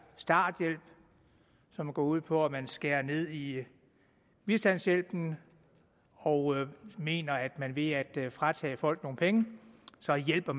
starthjælp som går ud på at man skærer ned i bistandshjælpen og mener at man ved at fratage folk nogle penge så hjælper